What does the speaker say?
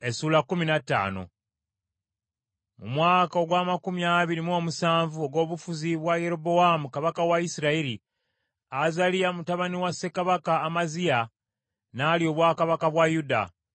Mu mwaka ogw’amakumi abiri mu omusanvu ogw’obufuzi bwa Yerobowaamu kabaka wa Isirayiri, Azaliya mutabani wa ssekabaka Amaziya n’alya obwakabaka bwa Yuda .